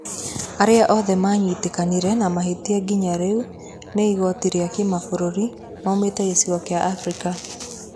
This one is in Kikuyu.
Arĩa othe manyitĩkanire na mahĩtia nginya rĩu nĩ igooti rĩa Kimabũrũri maumĩte gĩcigo kĩa Abirika.